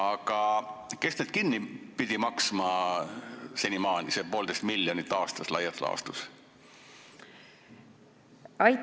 Aga kes need senimaani kinni pidi maksma, selle 1,5 miljonit aastas laias laastus?